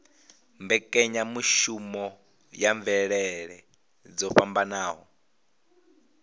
mbekanyamushumo ya mvelele dzo fhambanaho